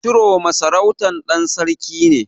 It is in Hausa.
Chiroma sarautar ɗan sarki ce.